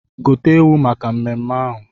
Gote ewu maka mmemme ahụ!